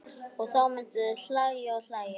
Og þá myndu þau hlæja og hlæja.